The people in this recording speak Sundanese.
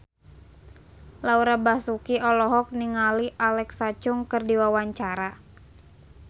Laura Basuki olohok ningali Alexa Chung keur diwawancara